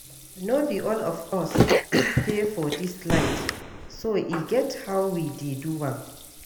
No be all of us pay for dis light so e get how we dey do am